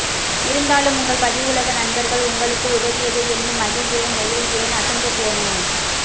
இருந்தாலும் உங்கள் பதிவுலக நண்பர்கள் உங்களுக்கு உதவியதை எண்ணி மகிழ்கிறேன் நெகிழ்கிறேன் அசந்து போனேன்